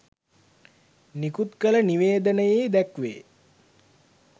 නිකුත කළ නිවේදනයේ දැක්වේ